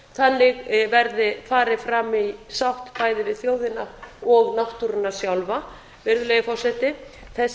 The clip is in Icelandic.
þannig verði farið fram í sátt bæði við þjóðina og náttúruna sjálfa virðulegi forseti þessi